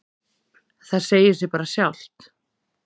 Það segir sig bara sjálft.